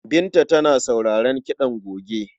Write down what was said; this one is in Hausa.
Binta tana sauraron kiɗan goge.